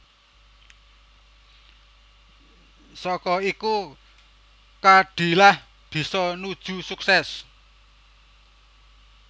Saka iku Khadilah bisa nuju sukses